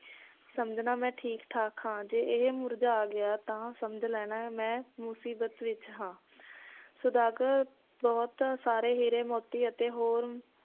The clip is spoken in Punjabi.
ਸਮਝਣਾ ਮੈ ਠੀਕ ਠਾਕ ਹਾਂ ਜੇ ਇਹ ਮੁਰਝਾ ਗਿਆ ਤਾਂ ਸਮਝ ਲੈਣਾ ਮੈ ਮੁਸੀਬਤ ਵਿਚ ਹਾਂ ਸੌਦਾਗਰ ਬਹੁਤ ਸਾਰੇ ਹੀਰੇ ਮੋਤੀ ਅਤੇ ਹੋਰ